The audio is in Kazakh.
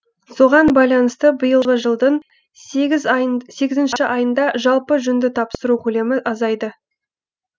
соған байланысты биылғы жылдың сегізінші айында жалпы жүнді тапсыру көлемі азайды